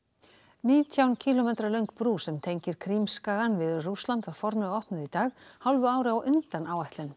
nítján kílómetra löng brú sem tengir Krímskagann við Rússland var formlega opnuð í dag hálfu ári á undan áætlun